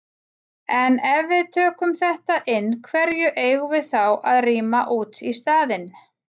En ef við tökum þetta inn, hverju eigum við þá að rýma út í staðinn?